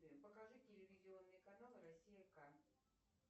покажи телевизионные каналы россия ка